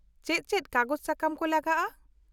-ᱪᱮᱫ ᱪᱮᱫ ᱠᱟᱜᱚᱡᱽ ᱥᱟᱠᱟᱢ ᱠᱚ ᱞᱟᱜᱟᱜᱼᱟ ?